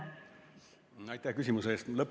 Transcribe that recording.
Aitäh küsimuse eest!